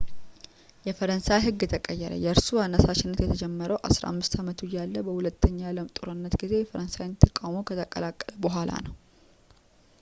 የፈረንሳይ ህግ ተቀየረ የእርሱ አነሳሽነት የተጀመረው 15 አመቱ እያለ በሁለተኛው የአለም ጦርነት ጊዜ የፈረንሳይን ተቃውሞ ከተቀላቀለ በኃላ ነው